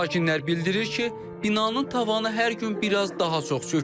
Sakinlər bildirir ki, binanın tavanı hər gün biraz daha çox çökür.